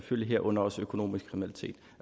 egelund og